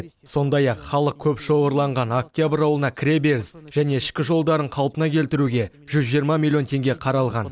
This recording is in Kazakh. сондай ақ халық көп шоғырланған октябрь ауылына кіреберіс және ішкі жолдарын қалпына келтіруге жүз жиырма миллион теңге қаралған